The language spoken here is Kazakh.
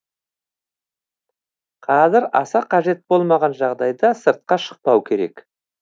қазір аса қажет болмаған жағдайда сыртқа шықпау керек